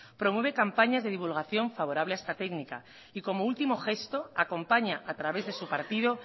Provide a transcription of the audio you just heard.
promueve campañas de divulgación favorable a esta técnica y como último gesto acompaña a través de su partido